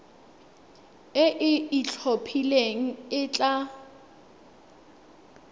e e itlhophileng e tla